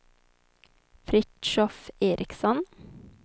Fritiof Ericson